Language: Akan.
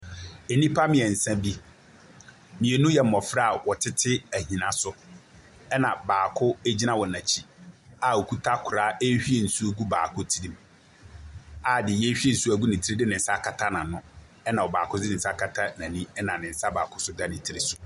Nnipa mmiɛnsa bi, mmienu yɛ mmɔfra wɔtete ɛhina so ɛna baako egyina wɔn akyi a ɔkuta kora rewhie nsu gu baako tiri mu a deɛ yɛwhie nsuo gu tirim no de nensa akata n'ano ɛna ɔbaako de nensa akata n'ani ɛna nensa baako nso da tiri so.